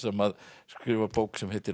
sem skrifar bók sem heitir